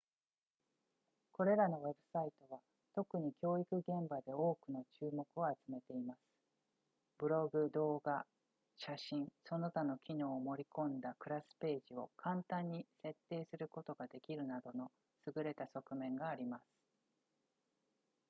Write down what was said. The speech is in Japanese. これらのウェブサイトは特に教育現場で多くの注目を集めていますブログ動画写真その他の機能を盛り込んだクラスページを簡単に設定することができるなどの優れた側面があります